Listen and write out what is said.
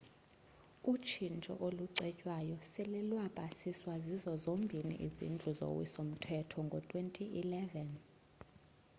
utshintsho olucetywayo sele lwapasiswa zizo zombini izindlu zowiso mthetho ngo-2011